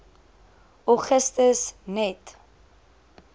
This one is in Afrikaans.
augustus net